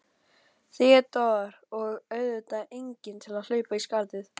THEODÓRA: Og auðvitað enginn til að hlaupa í skarðið.